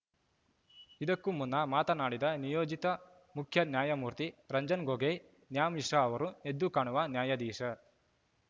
ಇದಕ್ಕೂ ಮುನ್ನ ಮಾತನಾಡಿದ ನಿಯೋಜಿತ ಮುಖ್ಯ ನ್ಯಾಯಮೂರ್ತಿ ರಂಜನ್‌ ಗೊಗೊಯ್‌ ನ್ಯಾ ಮಿಶ್ರಾ ಅವರು ಎದ್ದು ಕಾಣುವ ನ್ಯಾಯಾಧೀಶ